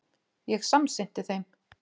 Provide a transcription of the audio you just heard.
Ég samsinnti þeim.